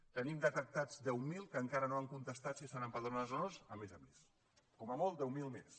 en tenim detectats deu mil que encara no han contestat si estan empadronats o no a més a més com a molt deu mil més